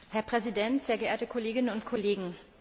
Herr Präsident, sehr geehrte Kolleginnen und Kollegen!